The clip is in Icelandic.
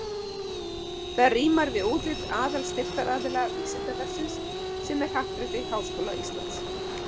Það rímar við útlit aðalstyrktaraðila Vísindavefsins sem er Happdrætti Háskóla Íslands.